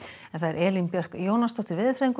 Elín Björk Jónasdóttir veðurfræðingur